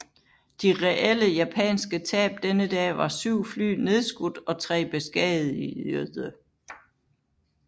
De reelle japanske tab denne dag var syv fly nedskudt og tre beskadigede